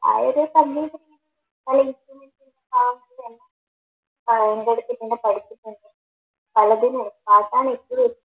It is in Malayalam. ആ ഒരു സന്തോഷത്തിന്